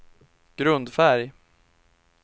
grundfärg